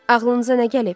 Ağlınıza nə gəlib?